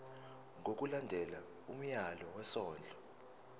ngokulandela umyalelo wesondlo